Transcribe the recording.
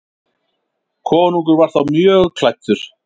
Konungur var þá mjög klæddur.